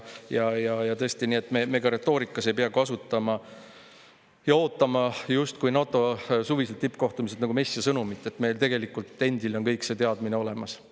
Ja tõesti, et me ka retoorikas ei pea kasutama ja ootama NATO suviselt tippkohtumiselt nagu messia sõnumit, vaid et meil tegelikult endil on kõik see teadmine olemas.